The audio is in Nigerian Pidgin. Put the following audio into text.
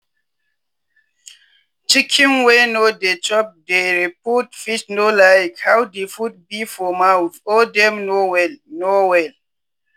chicken wey no dey chop dere food fit no like how di food be for mouth or dem no well. no well.